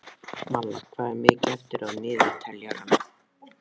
Malla, hvað er mikið eftir af niðurteljaranum?